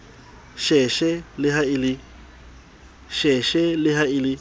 sheshe le ha e le